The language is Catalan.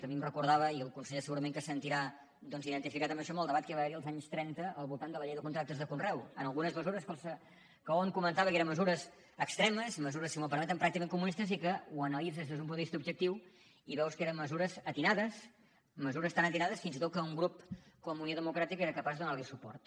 a mi em recordava i el conseller segurament que se sentirà doncs identificat amb això el debat que va haver hi als anys trenta al voltant de la llei de contractes de conreu en algunes mesures que hom comentava que eren mesures extremes mesures si m’ho permeten pràcticament comunistes i que ho analitzes des d’un punt de vista objectiu i veus que eren mesures encertades mesures tan encertades fins i tot que un grup com unió democràtica era capaç de donar li suport